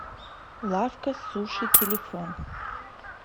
лавка суши телефон